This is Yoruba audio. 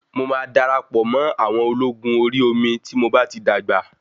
Mo máa darapọ̀ mọ́ àwọn ológun Orí omi tí mo bá ti dàgbà.